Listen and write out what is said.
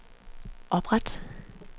opret